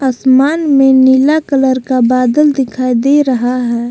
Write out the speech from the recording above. आसमान में नीला कलर का बादल दिखाई दे रहा है।